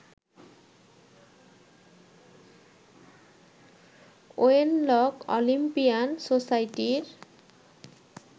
Wenlock Olympian সোসাইটির